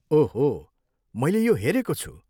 ओह हो! मैले यो हेरेको छु।